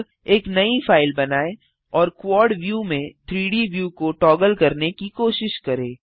अब एक नई फाइल बनाएँ और क्वाड व्यू में 3डी व्यू को टॉगल करने की कोशिश करें